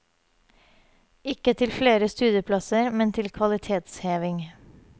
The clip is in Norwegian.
Ikke til flere studieplasser, men til kvalitetsheving.